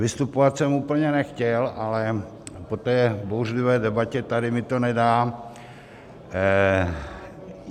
Vystupovat jsem úplně nechtěl, ale po té bouřlivé debatě tady mi to nedá.